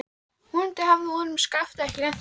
Vonandi hafði honum og Skafta ekki lent saman.